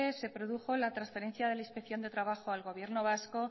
se produjo la transferencia de la inspección de trabajo al gobierno vasco